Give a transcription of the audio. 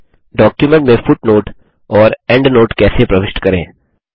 document में footnote और endnote कैसे प्रविष्ट करें